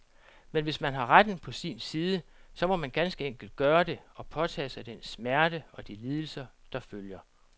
Men hvis man har retten på sin side, så må man ganske enkelt gøre det, og påtage sig den smerte og de lidelser, der følger.